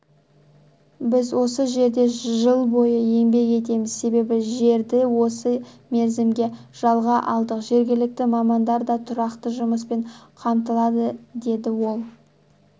біз осы жерде жыл бойы еңбек етеміз себебі жерді осы мерзімге жалға алдық жергілікті мамандар да тұрақты жұмыспен қамтылады деді ол